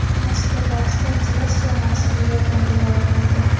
Mazkur bahsda Dias jamoasiga yordam bera olmaydi.